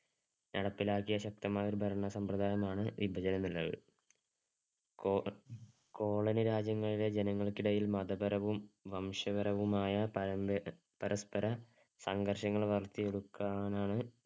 നടപ്പിലാക്കിയ ശക്തമായ ഒരു ഭരണ സമ്പ്രദായമാണ് വിഭജനം എന്നത്. കോ~ colony രാജ്യങ്ങളിലെ ജനങ്ങള്‍ക്കിടയില്‍ മതപരവും, വംശപരവുമായ പരസ്പര സംഘര്‍ഷങ്ങള്‍ വളര്‍ത്തിയെടുക്കാനാണ്